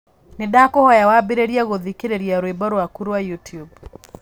Nĩndakũhoya wambĩrĩrie gũthikĩrĩria rwĩmbo rwaku rwa YouTube